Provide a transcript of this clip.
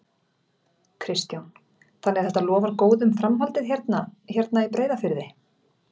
Kristján: Þannig að þetta lofar góðu um framhaldið hérna, hérna í Breiðafirði?